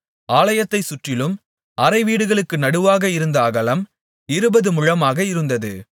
ஆலயத்தைச் சுற்றிலும் அறைவீடுகளுக்கு நடுவாக இருந்த அகலம் இருபது முழமாக இருந்தது